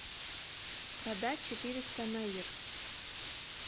продать четыреста найр